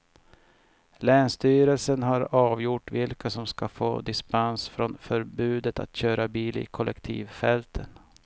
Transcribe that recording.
Länsstyrelsen har avgjort vilka som ska få dispens från förbudet att köra bil i kollektivfälten.